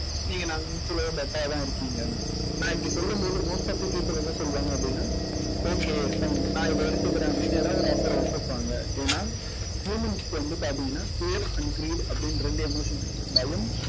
நீங்க better ஆதான் இருக்கீங்க. நான் இப்படி சொல்லும்போது most of the people என்ன சொல்லுவாங்க அப்படின்னா okay நான் இதை எடுத்துக்கிறேன் அப்படின்னு ஏதாவது ஒரு offer அ ஒத்துப்பாங்க. ஏன்னா humans க்கு வந்து பார்த்தீங்கன்னா fear and greed அப்படின்னு இரண்டு emotions இருக்கு. பயம்